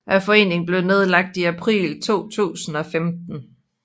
Foreningen blev nedlagt i april 2015